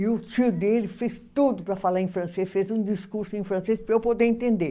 E o tio dele fez tudo para falar em francês, fez um discurso em francês para eu poder entender.